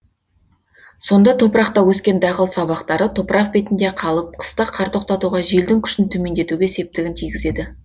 сонда топырақта өскен дақыл сабақтары топырақ бетінде қалып қыста қар тоқтатуға желдің күшін төмендетуге септігін тигізеді